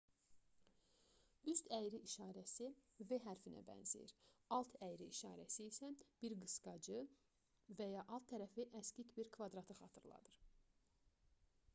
üst əyri işarəsi v hərfinə bənzəyir alt əyri işarəsi isə bir qısqacı və ya alt tərəfi əksik bir kvadratı xatırladır